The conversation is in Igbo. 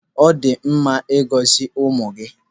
Ọ dị mma ị gọzi ụmụ gị.